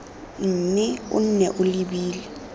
mme o nne o lebile